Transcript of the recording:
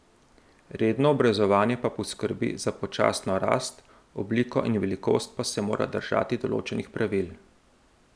Redno obrezovanje pa poskrbi za počasno rast, obliko in velikost pa se mora držati določenih pravil.